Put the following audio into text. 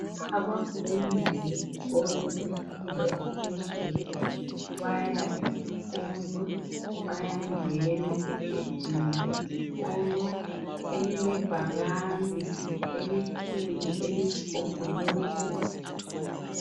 Abafundi beskolo semfundo yaphezulu baya esikolo bayangena egedini lesikolo elilebhakane elikhulu eliyisigombolozi.